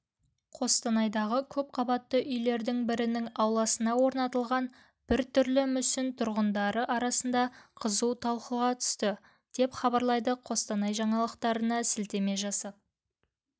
қостанайдағы көпқабатты үйлердің бірінің ауласына орнатылған біртүрлі мүсін тұрғындар арасында қызу талқыға түсті деп хабарлайды қостанай жаңалықтарына сілтеме жасап